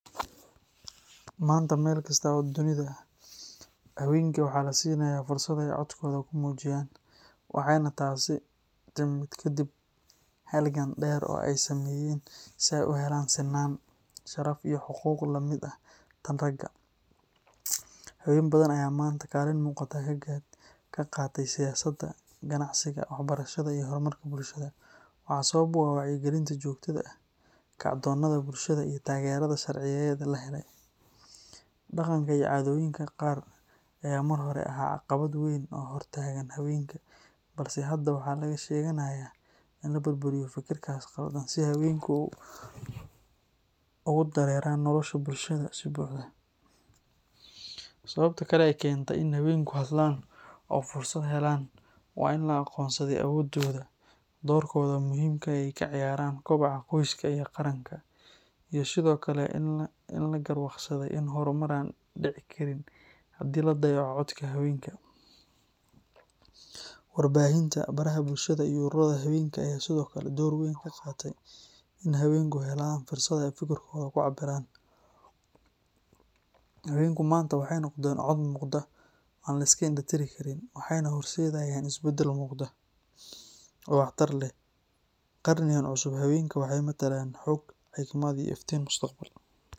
Maanta meel kasta oo dunida ah, haweenka waxaa la siinayaa fursad ay codkooda ku muujiyaan, waxayna taasi timid kaddib halgan dheer oo ay sameeyeen si ay u helaan sinaan, sharaf, iyo xuquuq la mid ah tan ragga. Haween badan ayaa maanta kaalin muuqata ka qaatay siyaasadda, ganacsiga, waxbarashada, iyo horumarka bulshada, waxaana sabab u ah wacyigelinta joogtada ah, kacdoonnada bulshada, iyo taageerada sharciyeed ee la helay. Dhaqanka iyo caadooyinka qaar ayaa mar hore ahaa caqabad weyn oo hor taagnaa haweenka, balse hadda waxaa laga shaqeynayaa in la burburiyo fikirkaas qaldan si haweenku ugu dareeraan nolosha bulshada si buuxda. Sababta kale ee keentay in haweenku hadlaan oo fursad helaan waa in la aqoonsaday awoodooda, doorkooda muhiimka ah ee ay ka ciyaaraan kobaca qoyska iyo qaranka, iyo sidoo kale in la garwaaqsaday in horumar aan dhici karin haddii la dayaco codka haweenka. Warbaahinta, baraha bulshada, iyo ururada haweenka ayaa sidoo kale door weyn ka qaatay in haweenku helaan fursado ay fikirkooda ku cabbiraan. Haweenku maanta waxay noqdeen cod muuqda oo aan la iska indhatiri karin, waxayna horseedayaan isbeddel muuqda oo waxtar leh. Qarnigan cusub, haweenka waxay matalayaan xoog, xigmad, iyo iftiin mustaqbal.